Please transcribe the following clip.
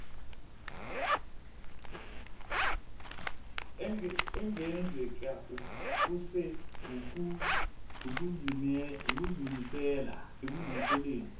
engenzeke kuse ukuzimiseleni